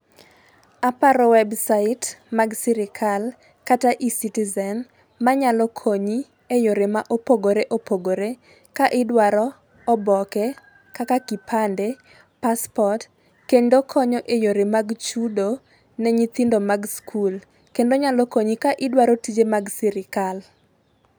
Aparo website mag sirkal kata e-citizen manyalo konyi e yore mapogore opogore ka idwaro oboke kaka kipande, passport kendo konyo e yore mag chudo ne nyithindo mag skul kendo nyalo konyi ka idwaro tije mag sirkal.